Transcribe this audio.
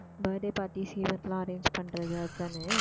birthday party எல்லாம் arrange பண்றது அதானே